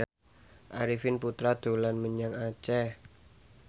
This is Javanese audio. Arifin Putra dolan menyang Aceh